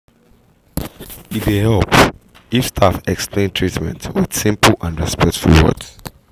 e dey help if staff explain treatment with simple and respectful words